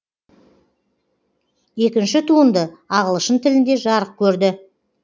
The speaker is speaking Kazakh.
екінші туынды ағылшын тілінде жарық көрді